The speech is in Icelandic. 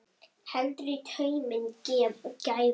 Heldur í tauminn gæfa.